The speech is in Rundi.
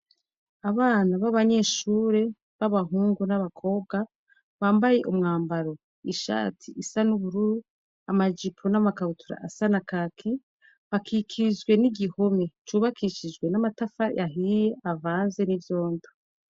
Abana b'abanyeshure b'abahungu n'abakobwa bambaye umwambaro ishati isa n'ubururu, amajipo n'amakabutura asa na kaki, bakikijwe n'igihome cubakishije amatafari ahiye avanze n'ivyondo.